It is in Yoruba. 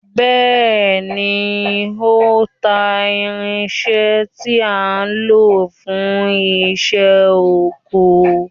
Bẹ́ẹ̀ni ó ń ta irinṣẹ́ tí a ń lò fún iṣẹ́ oko